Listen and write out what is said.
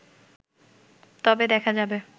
তবে দেখা যাবে